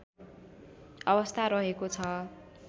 अवस्था रहेको छ